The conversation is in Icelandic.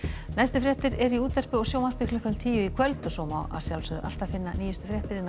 næstu fréttir eru í útvarpi og sjónvarpi klukkan tíu í kvöld og svo má alltaf finna nýjustu fréttir á